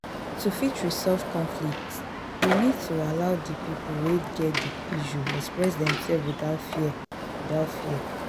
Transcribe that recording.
to fit resolve conflict we need to allow di people wey get di issue express themselve without fear without fear